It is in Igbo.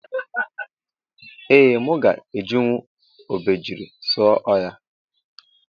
Ee mụ ga ejinwụ obejiri sụọ ọhia.